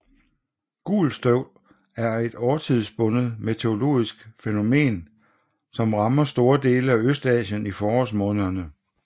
Gult støv er et årstidsbundet meteorologisk fænomen som rammer store dele af Østasien i forårsmånederne